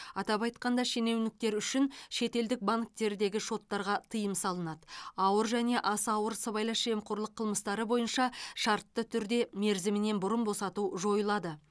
атап айтқанда шенеуніктер үшін шетелдік банктердегі шоттарға тыйым салынады ауыр және аса ауыр сыбайлас жемқорлық қылмыстары бойынша шартты түрде мерзімінен бұрын босату жойылады